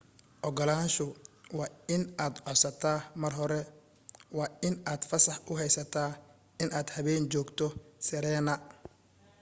ogolaansha waa in codsadaa mar hore waa in aad fasax u heysata in aad habeen joogto sirena